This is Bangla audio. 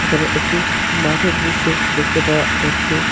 এখানে একটি মাঠের দৃশ্য দেখতে পাওয়া যাচ্ছে।